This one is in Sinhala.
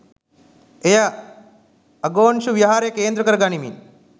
එය අගොන්ශු විහාරය කේන්ද්‍රකර ගනිමින්